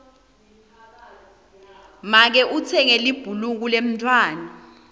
make utsenge libhuluka lemntfwana